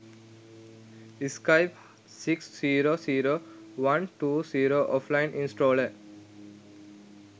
skype 6 0 0 120 offline installer